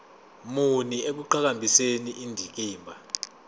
muni ekuqhakambiseni indikimba